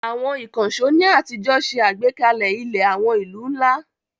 Àwọn ìkànṣó ní àtijọ́ ṣe àgbékalẹ̀ ilẹ̀ àwọn ìlú ńlá.